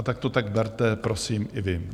A tak to tak berte prosím i vy.